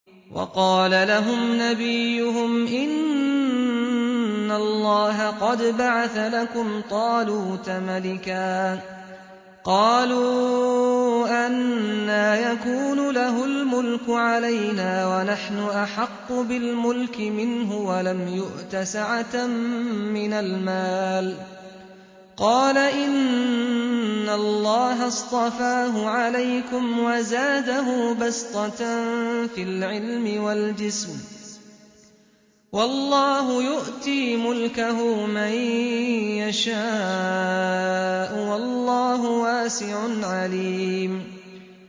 وَقَالَ لَهُمْ نَبِيُّهُمْ إِنَّ اللَّهَ قَدْ بَعَثَ لَكُمْ طَالُوتَ مَلِكًا ۚ قَالُوا أَنَّىٰ يَكُونُ لَهُ الْمُلْكُ عَلَيْنَا وَنَحْنُ أَحَقُّ بِالْمُلْكِ مِنْهُ وَلَمْ يُؤْتَ سَعَةً مِّنَ الْمَالِ ۚ قَالَ إِنَّ اللَّهَ اصْطَفَاهُ عَلَيْكُمْ وَزَادَهُ بَسْطَةً فِي الْعِلْمِ وَالْجِسْمِ ۖ وَاللَّهُ يُؤْتِي مُلْكَهُ مَن يَشَاءُ ۚ وَاللَّهُ وَاسِعٌ عَلِيمٌ